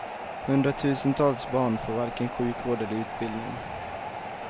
Hundratusentals barn får varken sjukvård eller utbildning.